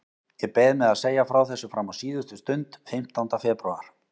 Ég beið með að segja frá þessu fram á síðustu stund, fimmtánda febrúar.